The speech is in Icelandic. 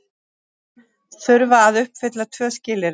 Þurfa að uppfylla tvö skilyrði